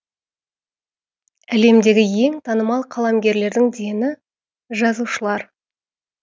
әлемдегі ең танымал қаламгерлердің дені жазушылар